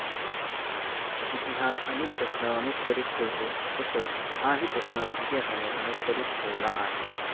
इतिहास अनेक प्रश्न अनुत्तरीत ठेवतो तसच हाही प्रश्न इतिहासाने अनुत्तरीत ठेवला आहे.